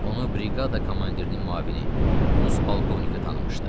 Onu briqada komandirinin müavini Rus polkovniki tanımışdı.